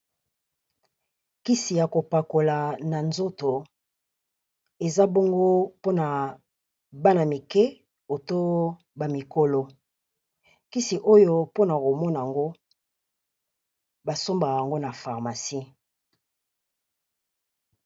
Kisi ya kopakola na nzoto eza bongo mpona bana mikié oto ba mikolo kisi oyo mpona komona yango basombaka yango na pharmacie.